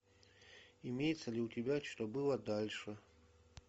имеется ли у тебя что было дальше